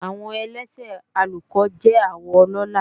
Àwọ elése àlùkò jẹ́ àwọ ọlọ́la